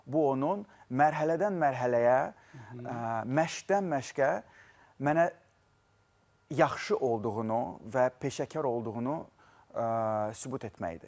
Bu onun mərhələdən mərhələyə, məşqdən məşqə mənə yaxşı olduğunu və peşəkar olduğunu sübut etmək idi.